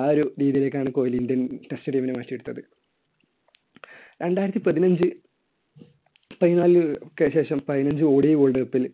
ആ ഒരു രീതിയിലേക്കാണ് കോഹ്ലി ഇന്ത്യൻ test team നെ മാറ്റി എടുത്തത്. രണ്ടായിരത്തി പതിനഞ്ച് പൈനാലിനൊക്കെ ശേഷം പതിനഞ്ച് odiworld cup ൽ